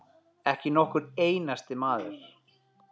Ekki nokkur einasti maður.